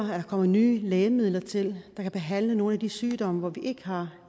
der kommer nye lægemidler til kan behandle nogle af de sygdomme hvor vi ikke har